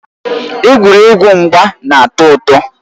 Egwuregwu mgba na-atọ ụtọ.